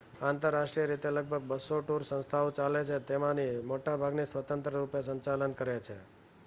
આંતરરાષ્ટ્રીય રીતે લગભગ 200 ટૂર સંસ્થાઓ ચાલે છે તેમાંની મોટાભાગની સ્વતંત્ર રૂપે સંચાલન કરે છે